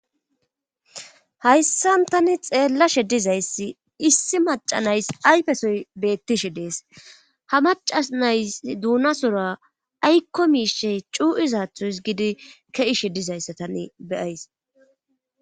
hayssan tani xeellashe dizayssi issi maca nays ayfesoy beettishe dees ha maca nays duuna sora aykko miishey cu7izaatho his gidi keishe dizayssa tane beyays